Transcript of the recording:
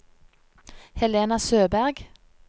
Helena Søberg